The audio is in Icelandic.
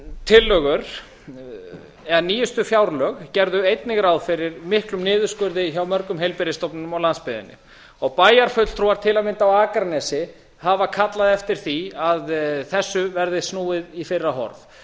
tillögur eða nýjustu fjárlög gerðu einnig ráð fyrir miklum niðurskurði hjá mörgum heilbrigðisstofnunum á landsbyggðinni og bæjarfulltrúar til að mynda á akranesi hafa kallað eftir því að þessu verði snúið í fyrra horf